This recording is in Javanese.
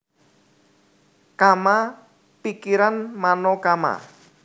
Kamma pikiran mano kamma